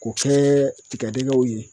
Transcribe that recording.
K'o kɛ tigadɛgɛw ye